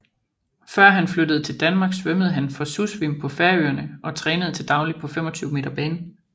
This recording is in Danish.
Før han flyttede til Danmark svømmede han for Susvim på Færøerne og trænede til daglig på 25 m bane